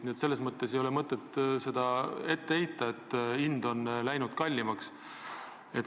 Nii et selles mõttes ei ole mõtet ette heita, et hind on läinud kallimaks.